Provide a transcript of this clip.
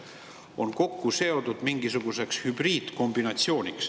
Siin on kokku seotud mingisugune hübriidkombinatsioon.